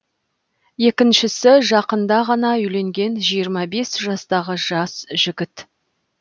екіншісі жақында ғана үйленген жиырма бес жастағы жас жігіт